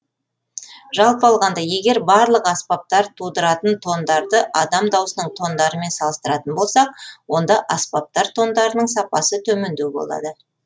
жалпы алғанда егер барлық аспаптар тудыратын тондарды адам даусының тондарымен салыстыратын болсақ онда аспаптар тондарының сапасы төмендеу болады